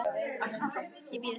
Ekki var ég að biðja hann um það.